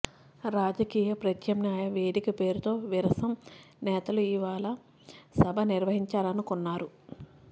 రాజకీయ ప్రత్యామ్నాయ వేదిక పేరుతో విరసం నేతలు ఇవాళ సభ నిర్వహించాలనుకున్నారు